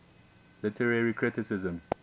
literary criticism